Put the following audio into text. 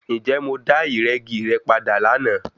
Ǹjẹ́ mo dá ìrẹ́gi re padà lánàá?